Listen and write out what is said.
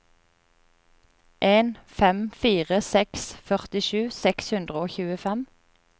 en fem fire seks førtisju seks hundre og tjuefem